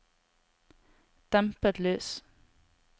dempet lys